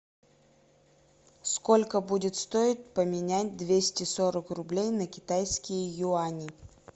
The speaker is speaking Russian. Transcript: сколько будет стоить поменять двести сорок рублей на китайские юани